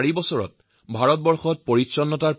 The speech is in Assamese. জীৱন সুস্থ ৰখাৰ প্ৰথম চৰ্তই হৈছে পৰিচ্ছন্নতা